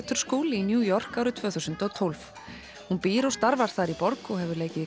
school í New York árið tvö þúsund og tólf hún býr og starfar þar í borg og hefur leikið í